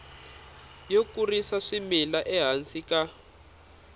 yo kurisa swimila ehansi ka